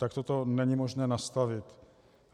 Takto to není možné nastavit.